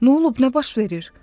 Nə olub, nə baş verir?